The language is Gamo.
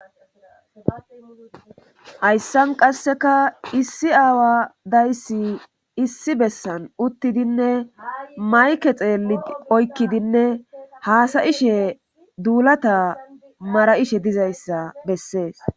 hayssan qasseka issi aawa dayssi issi bessan uttidinne mayke xeelli oykkidinne haasayishe duulata mara7ishe dizayssa bessees